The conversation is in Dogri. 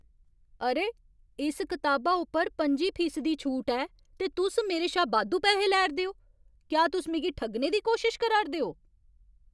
अरे! इस कताबा उप्पर पं'जी फीसदी छूट ऐ पर तुस मेरे शा बाद्धू पैहे लै 'रदे ओ। क्या तुस मिगी ठग्गने दी कोशश करा 'रदे ओ?